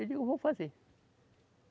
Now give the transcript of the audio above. Eu digo, eu vou fazer.